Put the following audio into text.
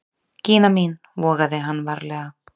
Gína mín, vogaði hann varlega.